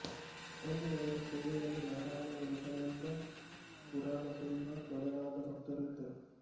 ಅಲ್ಲಿ ಅವರ ಸೇವೆಯಲ್ಲಿ ನಾರಾಯಣ ಯೋಗಾನಂದ ಪೂರಣಸಿಂಹ ಮೊದಲಾದ ಭಕ್ತರು ಇದ್ದರು